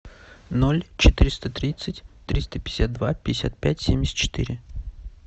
ноль четыреста тридцать триста пятьдесят два пятьдесят пять семьдесят четыре